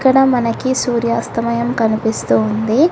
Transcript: డ మనకి సూర్యాస్తమయం కనిపిస్తూ ఉంది.